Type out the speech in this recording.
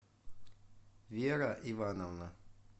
вера ивановна